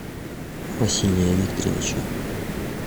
василия викторовича